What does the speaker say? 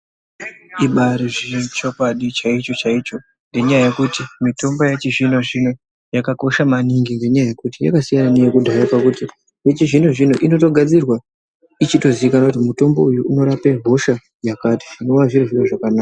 Chibari chokwadi chaicho chaicho ngenyaya yekuti mitombo yechi zvino zvino yakakosha maningi ngekuti yakasiyana neyeku dhaya pakuti yechi zvino zvino inotogadzirwa ichito zikanwa kuti mutombo uyu unorape hosha yakati zvinova zviri zviro zvakanaka .